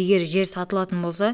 егер жер сатылатын болса